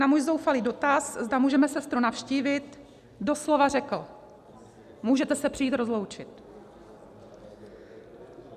Na můj zoufalý dotaz, zda můžeme sestru navštívit, doslova řekl: 'Můžete se přijít rozloučit.'